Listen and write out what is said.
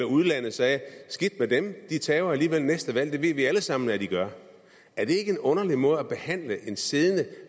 udlandet sagde skidt med dem de taber alligevel næste valg og det ved vi alle sammen at de gør er det ikke en underlig måde at behandle en siddende